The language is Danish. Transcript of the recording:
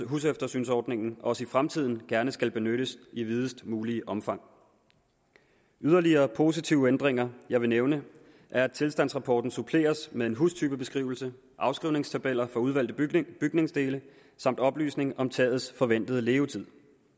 huseftersynsordningen også i fremtiden gerne skal benyttes i videst muligt omfang yderligere positive ændringer jeg vil nævne er at tilstandsrapporten suppleres med en hustypebeskrivelse afskrivningstabeller for udvalgte bygningsdele samt oplysning om tagets forventede levetid